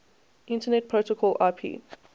internet protocol ip